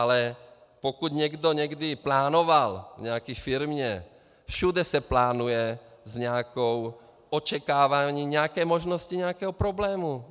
Ale pokud někdo někdy plánoval v nějaké firmě - všude se plánuje s nějakým očekáváním nějaké možnosti nějakého problému.